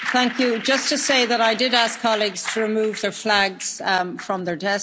Just to say that I did ask colleagues to remove the flags from their desks.